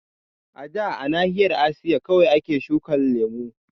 A da a nahiyar Asiya kawai ake shukan lemu